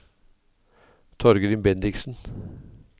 Torgrim Bendiksen